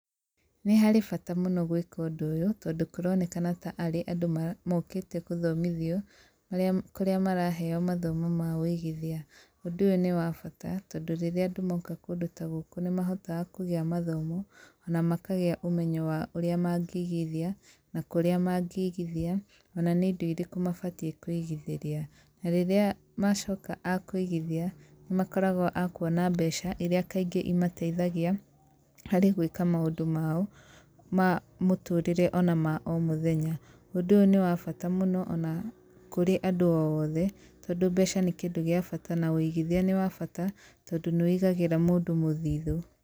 Nĩ harĩ bata mũno gwĩka ũndũ ũyũ, tondũ kũronekana ta arĩ andũ mokĩte gũthomithio, marĩa, kũrĩa maraheo mathomo ma wĩigithia. Ũndũ ũyũ nĩ wa bata, tondũ rĩrĩa andũ moka kũndũ ta gũkũ nĩ mahotaga kũgĩa mathomo, ona makagĩa ũmenyo wa ũrĩa mangĩigithia, na kũrĩa mangĩigithia, ona nĩ indo irĩkũ mabatiĩ kũigithĩria. Na rĩrĩa macoka a kũigithia, nĩ makoragwo a kuona mbeca irĩa kaingĩ imateithagia harĩ gwĩka maũndũ mao ma mũtũrĩre ona ma o mũthenya. Ũndũ ũyũ nĩ wa bata mũno ona kũrĩ andũ othe tondũ mbeca nĩ kĩndũ gĩa bata na wĩigithia nĩ wa bata tondũ nĩ wĩigagĩra mũndũ mũthithũ.